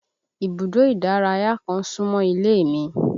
Ibùdó ìdárayá kan súmọ́ ilé mi